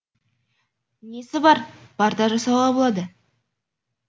несі бар парта жасауға болады